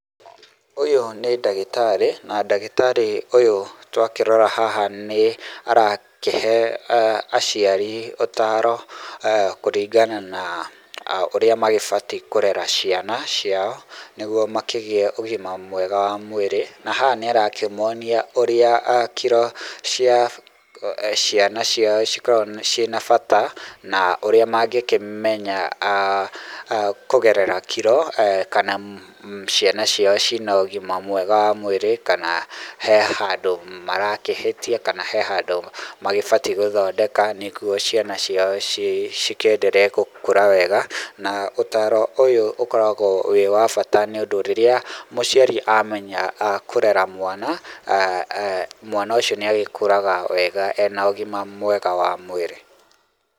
Ũyũ nĩ ndagĩtarĩ na ndagĩtarĩ ũyũ twakĩrora haha nĩ arakĩhe aciari ũtaro kũringana na ũrĩa magĩbatie kũrera ciana ciao nĩgup makĩgĩe ũgima mwega mwa mwĩrĩ na haha nĩ ara kĩmonia ũrĩa kiro cia ciana ciao ũrĩa cikoragwo ciĩ na bata na ũrĩa mangĩkĩmenya kũgerera kiro kana ciana ciao ciĩna ũgima mwega wa mwĩrĩ kana he handũ marakĩhĩtia kana he handũ maagĩbatie gũthondeka nĩguo ciana ciao cikĩ endelee gũkũra wega na ũtaro ũyũ ũkoragwo wĩ wa bata nĩ ũndũ rĩrĩa mũciari amenya kũrera mwana mwana ucio nĩ agĩkũraga wega ena ũgima mwega wa mwĩrĩ.